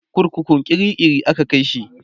kurkukun kirikiri aka Kai shi